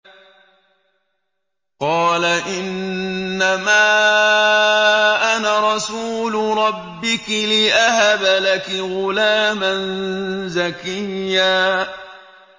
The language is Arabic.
قَالَ إِنَّمَا أَنَا رَسُولُ رَبِّكِ لِأَهَبَ لَكِ غُلَامًا زَكِيًّا